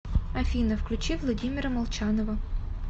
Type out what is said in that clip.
афина включи владимира молчанова